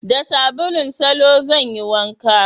Da sabulun salo zan yi wanka